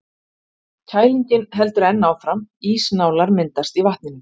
Kælingin heldur enn áfram, ísnálar myndast í vatninu.